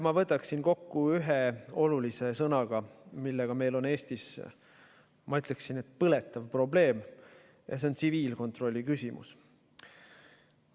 Ma võtaksin selle kokku ühe sõnaga, millega meil on Eestis, ma ütleksin, põletav probleem, ja see on tsiviilkontrolli küsimus.